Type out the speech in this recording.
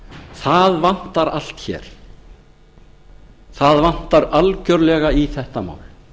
það vantar allt hér það vantar algjörlega í þetta mál